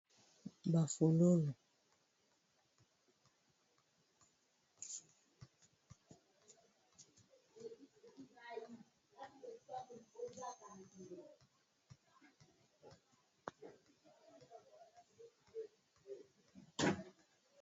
Ba folk, ba fololo, ba fololo